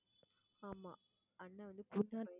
ஆமா அண்ணன் வந்து